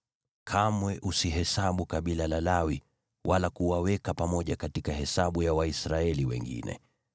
“Kamwe usihesabu kabila la Lawi wala kuwaweka pamoja katika hesabu ya Waisraeli wengine.